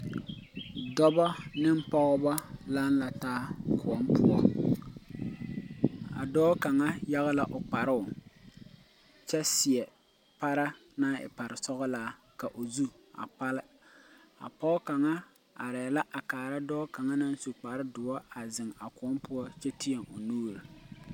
Dɔba ne pɔgba lang la taa koun pou a doɔ kanga yage la ɔ kparoo kye seɛ para nang e pare sɔglaa ka ɔ zu a kpali a poɔ kanga arẽ la a kaara doɔ kanga nang su kpare duo a zeng a kou pou kye teẽ ɔ nuuri.